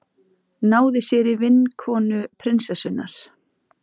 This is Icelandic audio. Náði sér í vinkonu prinsessunnar